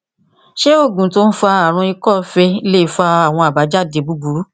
ṣé oògùn tó ń fa àrùn iko ife lè fa àwọn àbájáde búburú